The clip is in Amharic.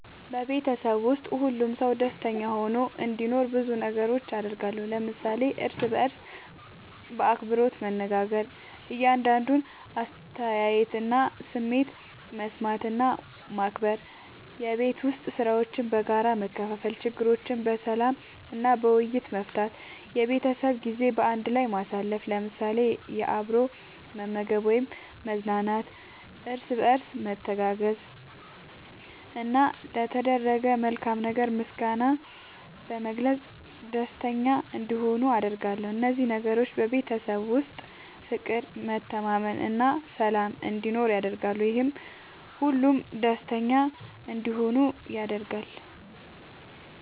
በቤተሰቤ ውስጥ ሁሉም ሰው ደስተኛ ሆኖ እንዲኖር ብዙ ነገሮችን አደርጋለሁ።። ለምሳሌ፦ እርስ በርስ በአክብሮት መነጋገር። የእያንዳንዱን አስተያየትና ስሜት መስማት እና ማክበር፣ የቤት ዉስጥ ሥራዎችን በጋራ መከፋፈል፣ ችግሮችን በሰላም እና በውይይት መፍታት፣ የቤተሰብ ጊዜ በአንድ ላይ ማሳለፍ ለምሳሌ፦ አብሮ መመገብ ወይም መዝናናት፣ እርስ በርስ መተጋገዝ፣ እና ለተደረገ መልካም ነገር ምስጋና በመግለጽ ደስተኛ እንዲሆኑ አደርጋለሁ። እነዚህ ነገሮች በቤተሰብ ውስጥ ፍቅር፣ መተማመን እና ሰላም እንዲኖር ያደርጋሉ፤ ይህም ሁሉም ደስተኛ እንዲሆኑ ያደርጋል።